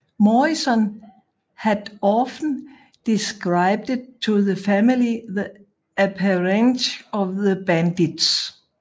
Morrison had often described to the family the appearance of the bandits